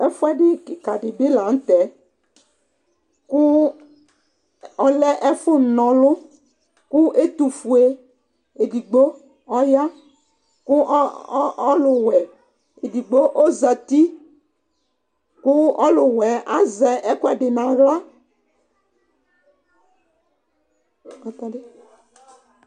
ɛfuedi keka di bi lantɛ kò ɔlɛ ɛfu n'ɔlu kò ɛtofue edigbo ɔya kò ɔluwɛ edigbo ozati kò ɔluwɛ azɛ ɛkoɛdi n'ala